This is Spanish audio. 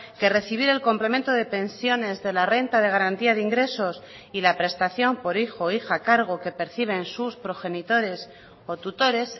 que recibir el complemento de pensiones de la renta de garantía de ingresos y la prestación por hijo o hija a cargo que perciben sus progenitores o tutores